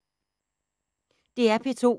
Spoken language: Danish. DR P2